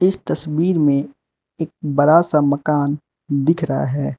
इस तस्वीर में एक बड़ा सा मकान दिख रहा है।